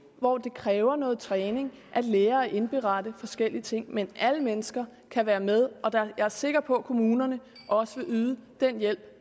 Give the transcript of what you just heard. hvor det kræver noget træning at lære at indberette forskellige ting men alle mennesker kan være med og jeg er sikker på at kommunerne også vil yde den hjælp